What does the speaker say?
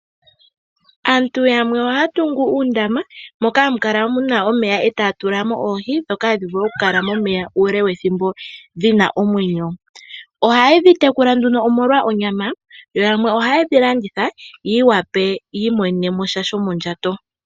Aantu yamwe ohaya tungu uundama moka hamu kala muna omeya etaya tula oohi ndhoka hadhi vulu okukala momeya uule wethimbo dhina omwenyo. Oha yedhi tekula omolwa onyama, yamwe oha yedhi landitha yawape yi imonenesha shomondjato.